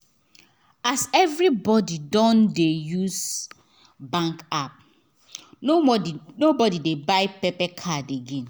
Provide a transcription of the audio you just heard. as everybody don dey use bank app nobody nobody dey buy card again